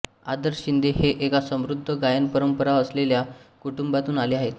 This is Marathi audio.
आदर्श शिंदे हे एका समृद्ध गायनपरंपरा असलेल्या कुटुंबातून आले आहेत